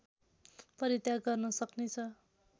परित्याग गर्न सक्नेछ